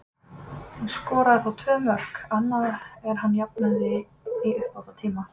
Hann skoraði þá tvö mörk, og annað er hann jafnaði í uppbótartíma.